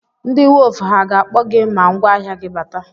Ndị wọf ha ga-akpọ gị ma ngwáahịa gị bata?